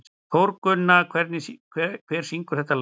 Þórgunna, hver syngur þetta lag?